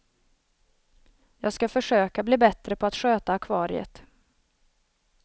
Jag ska försöka bli bättre på att sköta akvariet.